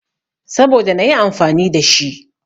Saboda nayi amfani da shi.